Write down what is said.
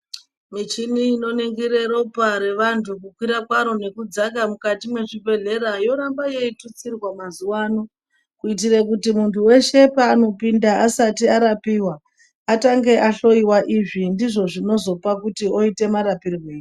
Michini inoningire ropa revantu kukwira karo nekudzaka mukati mezvibhedhlera yoramba yeyitutsirwa mazuwa ano kuitire kuti muntu weshe paanopinda asati arapiwa atange ahloyiwa izvi ndizvo zvinozopa kuti oita marapirweyi.